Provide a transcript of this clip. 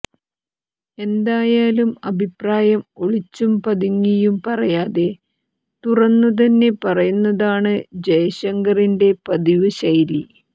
എന്തായാലും അഭിപ്രായം ഒളിച്ചും പതുങ്ങിയും പറയാതെ തുറുന്ന തന്നെ പറയുന്നതാണ് ജയശങ്കറിന്റെ പതിവു ശൈലി